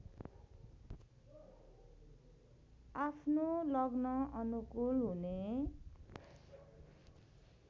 आफ्नो लग्नअनुकूल हुने